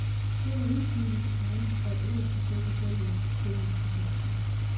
Denne indsigelse forventes dog ikke at forsinke selve stillingsbesættelsen.